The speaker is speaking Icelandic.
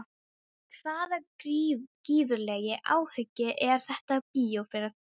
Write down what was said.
Hvaða gífurlegi áhugi er þetta á bíóferð?